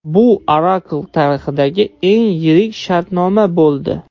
Bu Oracle tarixidagi eng yirik shartnoma bo‘ldi.